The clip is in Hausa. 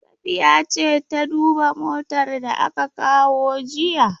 Safiya ce ta duba motar da aka kawo jiya?